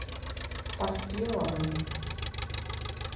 поспеловым